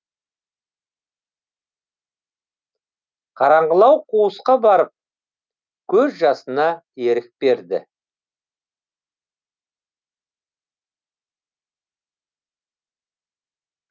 қараңғылау қуысқа барып көз жасына ерік берді